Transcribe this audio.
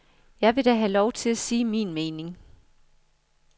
Jeg vil da have lov til at sige min mening.